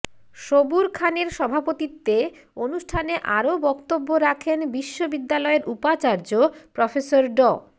সবুর খানের সভাপতিত্বে অনুষ্ঠানে আরো বক্তব্য রাখেন বিশ্ববিদ্যালয়ের উপাচার্য প্রফেসর ড